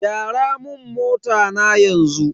Gyara mun mota na yanzu.